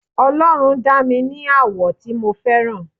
ọlọrun dá mi ní àwọ̀ tí mo fẹ́ràn